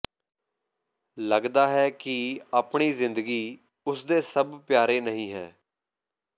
ਲੱਗਦਾ ਹੈ ਕਿ ਆਪਣੀ ਜ਼ਿੰਦਗੀ ਉਸ ਦੇ ਸਭ ਪਿਆਰੇ ਨਹੀਂ ਹੈ